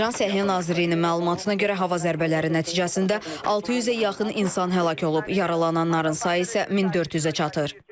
İran Səhiyyə Nazirliyinin məlumatına görə hava zərbələri nəticəsində 600-ə yaxın insan həlak olub, yaralananların sayı isə 1400-ə çatır.